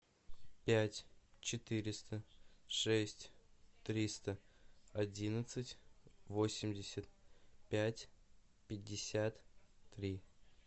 пять четыреста шесть триста одиннадцать восемьдесят пять пятьдесят три